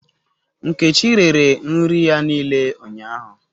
Nkechi rere nri ya niile ụnyahụ